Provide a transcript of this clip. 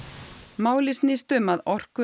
málið snýst um að